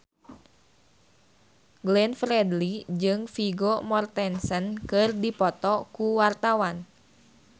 Glenn Fredly jeung Vigo Mortensen keur dipoto ku wartawan